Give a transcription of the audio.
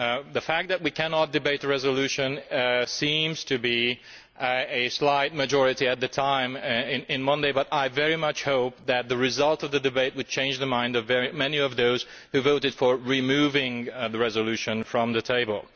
The fact that we cannot debate a resolution seems to be a result of a slight majority at the time on Monday but I very much hope that the result of the debate will change the minds of many of those who voted to remove the resolution from the table.